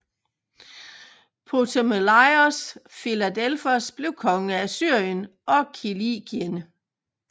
Ptomelaios Filadelfos blev konge af Syrien og Kilikien